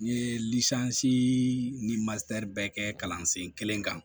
N ye ni bɛɛ kɛ kalansen kelen kan